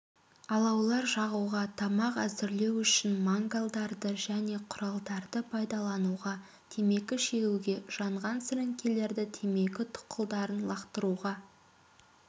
алаулар жағуға тамақ әзірлеу үшін мангалдарды және құралдарды пайдалануға темекі шегуге жанған сіріңкелерді темекі тұқылдарын лақтыруға